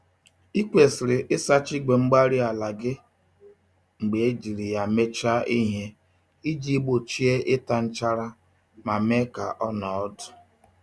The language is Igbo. Ị kwesịrị ịsacha igwe-mgbárí-ala gị mgbe ejiri ya mechaa ihe iji gbochie ịta nchara ma mee ka ọnọọ ọdụ